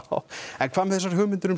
en hvað með þessar hugmyndir um